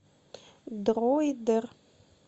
дроидер